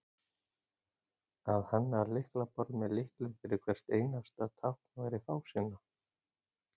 Að hanna lyklaborð með lyklum fyrir hvert einasta tákn væri fásinna.